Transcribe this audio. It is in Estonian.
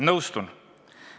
Nõustun.